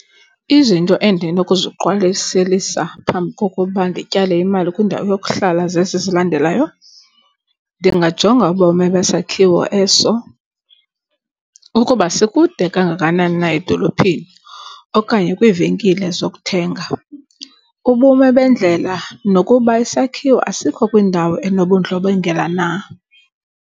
Izinto endinokuziqwalaselisa phambi kokuba ndityale imali kwindawo yokuhlala zezi zilandelayo. Ndingajonga ubomi besakhiwo eso ukuba sikude kangakanani na edolophini okanye kwiivenkile zokuthenga. Ubume bendlela nokuba isakhiwo asikho kwindawo enobundlobongela na.